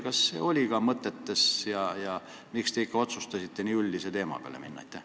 Kas see oli ka mõtetes ja miks te ikka otsustasite nii üldise variandi peale minna?